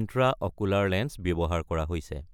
Intraocular lens ব্যৱহাৰ কৰা হৈছে।